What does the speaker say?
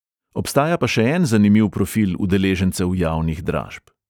Obstaja pa še en zanimiv profil udeležencev javnih dražb.